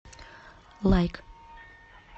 лайк